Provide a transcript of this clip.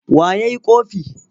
Wa ya yi ƙofi?